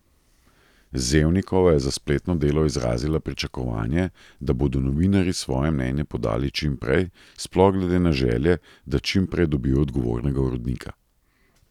Zevnikova je za spletno Delo izrazila pričakovanje, da bodo novinarji svoje mnenje podali čim prej, sploh glede na želje, da čim prej dobijo odgovornega urednika.